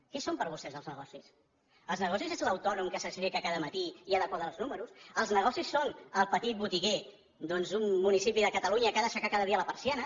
què són per vostès els negocis els negocis és l’autònom que s’aixeca cada matí i ha de quadrar els números els negocis són el petit botiguer d’un municipi de catalunya que ha d’aixecar cada dia la persiana